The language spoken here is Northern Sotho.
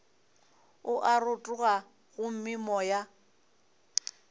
o a rotoga gomme moya